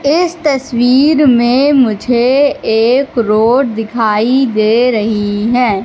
इस तस्वीर में मुझे एक रोड दिखाई दे रही है।